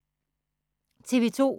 TV 2